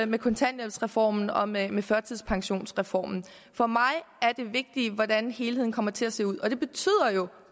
med kontanthjælpsreformen og med med førtidspensionsreformen for mig er det vigtige hvordan helheden kommer til at se ud og det betyder jo